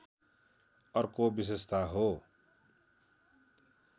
अर्को विशेषता हो